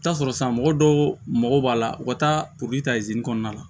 I bi t'a sɔrɔ sisan mɔgɔ dɔw mago b'a la u ka taa poliki ta kɔnɔna la